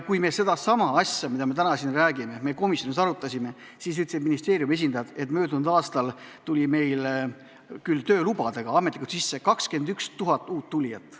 Kui me sedasama asja, mida me täna siin käsitleme, komisjonis arutasime, siis ütlesid ministeeriumi esindajad, et möödunud aastal tuli meile ametlikult töölubadega sisse 21 000 inimest.